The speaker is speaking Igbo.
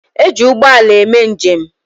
E ji ụgbọala eme njem.